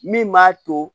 Min b'a to